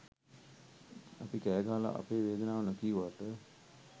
අපි කෑ ගහලා අපේ වේදනාව නොකීවාට